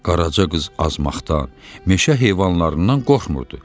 Qaraca qız azmaqdan, meşə heyvanlarından qorxmurdu.